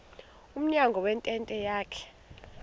emnyango wentente yakhe